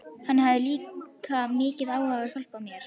Hann hafði líka mikinn áhuga á að hjálpa mér.